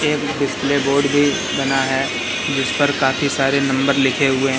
एक display board भी बना है जिस पर काफी सारे नंबर लिखे हुएं--